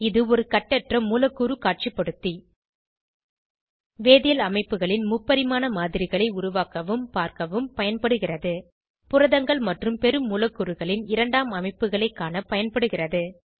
இது ஒரு கட்டற்ற மூலக்கூறு காட்சிபடுத்தி வேதியியல் அமைப்புகளின் முப்பரிமாண மாதிரிகளை உருவாக்கவும் பார்க்கவும் பயன்படுகிறது புரதங்கள் மற்றும் பெருமூலக்கூறுகளின் இரண்டாம் அமைப்புகளைக் காண பயன்படுகிறது